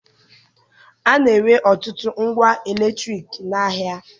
A na-ere ọtụtụ ngwa eletriki n'ahịa